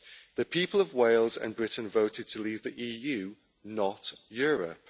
The people of Wales and Britain voted to leave the EU, not Europe.